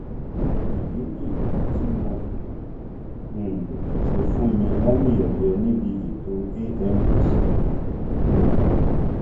èyí nìdí tí wọn kò um ṣe fún mi lámìẹyẹ níbi ètò amvca um